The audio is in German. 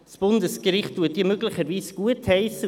Das Bundesgericht wird diese möglicherweise gutheissen.